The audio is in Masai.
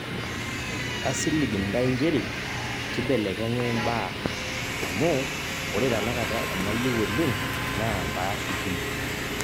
kasilig ntae njere kibelekenya imbaa amu ore tenakata enayieu oleng' naa paashukunyie